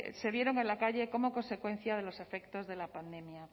se vieron en la calle como consecuencia de los efectos de la pandemia